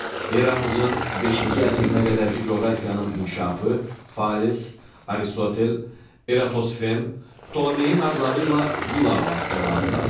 Eramızın beşinci əsrinə qədərki coğrafiyanın inkişafı Fales, Aristotel, Eratosfen, Ptolemeyin adları ilə bilavasitə əlaqədardır.